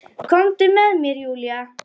Komdu með mér Júlía.